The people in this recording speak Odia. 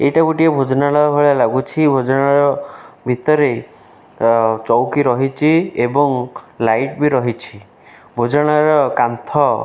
ଏଇଟା ଗୋଟିଏ ଭୋଜନାଳୟ ଭଳିଆ ଲାଗୁଛି ଭୋଜନାଳୟ ଭିତରେ ତ ଚୌକି ରହିଚି ଏବଂ ଲାଇଟ୍ ବି ରହିଛି ଭୋଜନାଳୟ କାନ୍ଥ --